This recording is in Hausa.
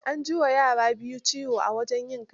An ji wa yara biyu ciwo a wajen yin kaciyar.